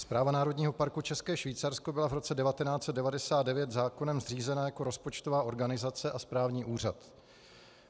Správa Národního parku České Švýcarsko byla v roce 1999 zákonem zřízena jako rozpočtová organizace a správní úřad.